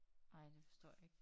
Ej det forstår jeg ik